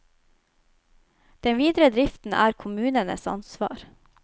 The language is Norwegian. Den videre driften er kommunenes ansvar.